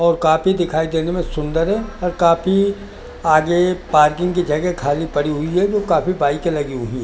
और काफी दिखाई देने में सुंदर है और काफी आगे पार्किंग की जगह खाली पड़ी हुई है जो काफी बाइकें लगी हुई है।